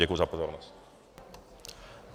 Děkuji za pozornost.